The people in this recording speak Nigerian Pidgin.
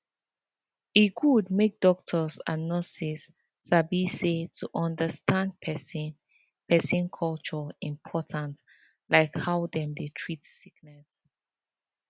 e good make doctors and nurses sabi say to understand person person culture important like how dem dey treat sickness